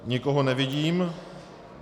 Nikoho nevidím.